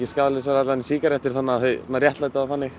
skaðlausara heldur en sígarettur þannig þau réttlæta það þannig